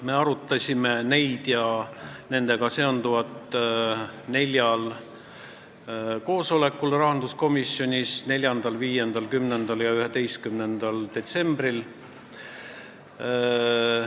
Me arutasime neid ja nendega seonduvat rahanduskomisjoni neljal koosolekul: 4., 6., 10. ja 11. detsembril.